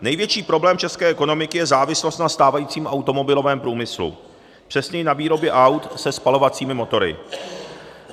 Největší problém české ekonomiky je závislost na stávajícím automobilovém průmyslu, přesněji na výrobě aut se spalovacími motory.